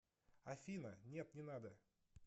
афина нет не надо